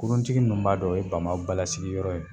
Kuruntigi ninnu b'a dɔn o ye bambaw balasigiyɔrɔ ye.